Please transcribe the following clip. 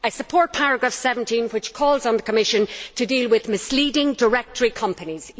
I support paragraph 17, which calls on the Commission to deal with misleading directory companies.